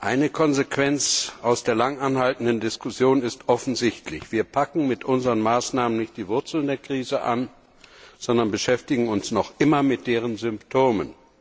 Eine Konsequenz aus der lang anhaltenden Diskussion ist offensichtlich Wir packen mit unseren Maßnahmen nicht die Wurzeln der Krise an, sondern beschäftigen uns noch immer mit deren Symptomen.